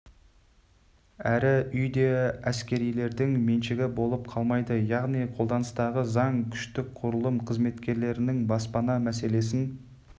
әрі үй де әскерилердің меншігі болып қалмайды яғни қолданыстағы заң күштік құрылым қызметкерлерінің баспана мәселесін